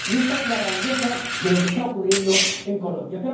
Y esta es la grandeza de lo que está ocurriendo en Colombia.